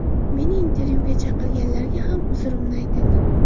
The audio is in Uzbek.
Meni intervyuga chaqirganlarga ham uzrimni aytaman.